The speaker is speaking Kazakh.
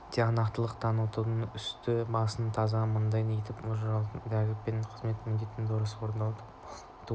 тиянақтылық танытудан үсті-басын таза мұнтаздай етіп ұстаудан тәртіп пен қызметтік міндеттерді дұрыс орындаудан полктың туын